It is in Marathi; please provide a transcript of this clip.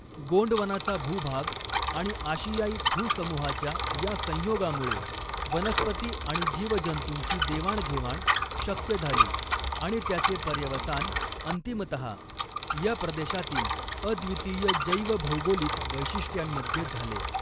गोंडवनाचा भूभाग आणि आशियाई भू समुहाच्या या संयोगामुळे, वनस्पती आणि जीवजंतूंची देवाणघेवाण शक्य झाली आणि त्याचे पर्यवसान अंतिमतहा या प्रदेशातील अद्वितीय जैवभौगोलिक वैशिष्ट्यांमध्ये झाले.